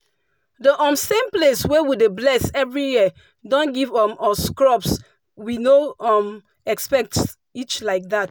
the um same place wey we dey bless every year don give um us crops we no um expect reach like that.